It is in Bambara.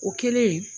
O kɛlen